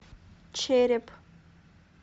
череп